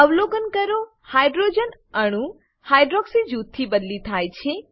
અવલોકન કરો હાઇડ્રોજન અણુ હાઇડ્રોક્સી જૂથથી બદલી થાય છે